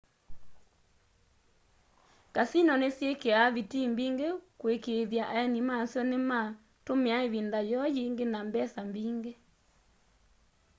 kasino nisyikia vitii mbingi kuikiithya aeni masyo nimatumia ivinda yoo yingi na mbesa mbingi